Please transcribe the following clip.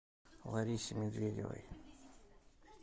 ларисе медведевой